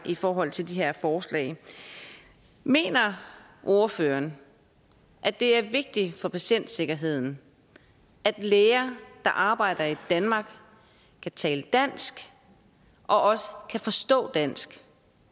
i forhold til de her forslag mener ordføreren at det er vigtigt for patientsikkerheden at læger der arbejder i danmark kan tale dansk og også kan forstå dansk